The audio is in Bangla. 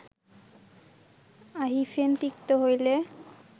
অহিফেন তিক্ত হইলে